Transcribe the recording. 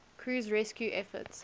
crew's rescue efforts